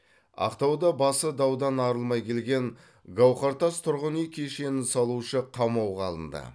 ақтауда басы даудан арылмай келген гаухартас тұрғын үй кешенін салушы қамауға алынды